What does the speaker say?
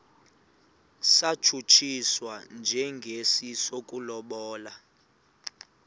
satshutshiswa njengesi sokulobola